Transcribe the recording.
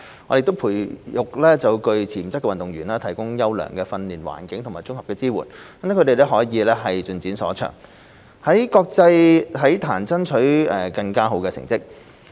我們培育具潛質的運動員，提供優良的訓練環境及綜合支援，讓他們可以盡展所長，在國際體壇爭取更佳成績。